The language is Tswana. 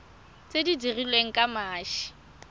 tse di dirilweng ka mashi